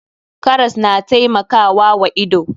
Karas na taimakawa wa ido.